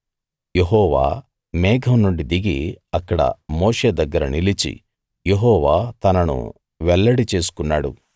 యెహోవా మేఘం నుండి దిగి అక్కడ మోషే దగ్గర నిలిచి యెహోవా తనను వెల్లడి చేసుకున్నాడు